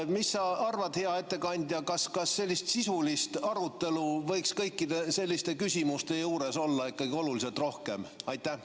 Mis sa arvad, hea ettekandja, kas sellist sisulist arutelu võiks kõikide selliste küsimuste juures olla ikkagi oluliselt rohkem?